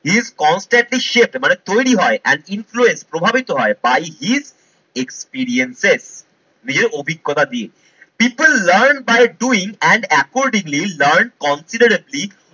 is constantly shape মানে তৈরী হয় and influence প্রভাবিত হয় by his experience নিজের অভিজ্ঞতা দিয়ে people learn by doing and accordingly learn completed